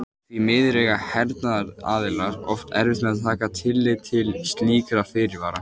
Því miður eiga hernaðaraðilar oft erfitt með að taka tillit til slíkra fyrirvara.